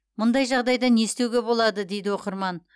мұндай жағдайда не істеуге болады дейді оқырман